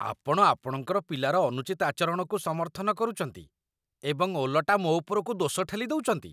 ଆପଣ ଆପଣଙ୍କର ପିଲାର ଅନୁଚିତ ଆଚରଣକୁ ସମର୍ଥନ କରୁଛନ୍ତି, ଏବଂ ଓଲଟା ମୋ ଉପରକୁ ଦୋଷ ଠେଲିଦେଉଛନ୍ତି!